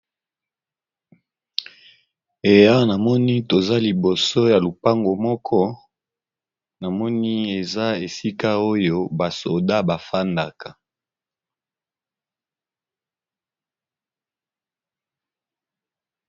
Eh Awa ! namoni toza liboso ya lopango moko! na moni eza esika oyo basoda bafanda ka .